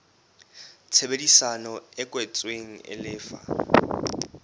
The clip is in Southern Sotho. tshebedisano e kwetsweng e lefa